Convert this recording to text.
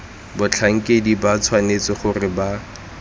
batlhankedi ba tshwanetse gore ba